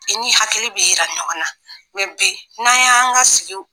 I ni hakili bɛ jira ɲɔgɔn na bi n'an y'an ka sigi